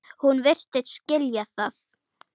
Hún virtist skilja það.